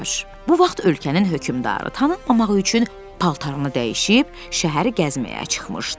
Bu vaxt ölkənin hökmdarı tanınmamaq üçün paltarını dəyişib şəhəri gəzməyə çıxmışdı.